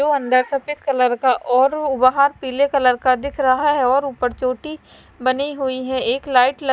तो अन्दर सफेद कलर का और वो वहा पीले कलर का दिख रहा है और उपर चोटी बनी हुई है एक लाइट लग--